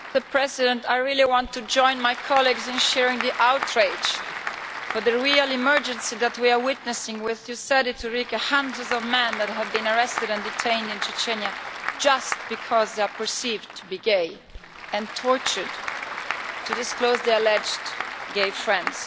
Mr President, I really want to join my colleagues in sharing the outrage for the real emergency that we are witnessing with you said it, Ulrike hundreds of men that have been arrested and detained in Chechnya just because they are perceived to be gay, and tortured to disclose their alleged gay friends.